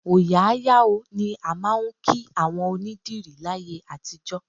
Òòyà á yà ó ni a máa ń kí àwọn onîdìrí láyé àtijọ́